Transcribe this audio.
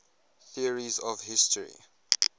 theories of history